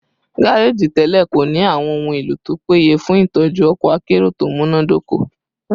gareji tẹlẹ ko ni awọn ohun elo to peye fun itọju ọkọ akero to munadoko